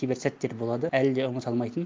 кейбір сәттер болады әлі де ұмыта алмайтын